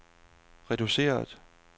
reduceret